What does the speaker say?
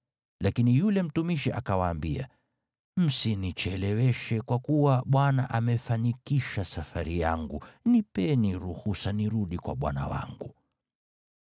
Lakini yule mtumishi akawaambia, “Msinicheleweshe, kwa kuwa Bwana amefanikisha safari yangu, nipeni ruhusa nirudi kwa bwana wangu.”